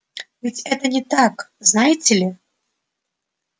ведь это не так знаете ли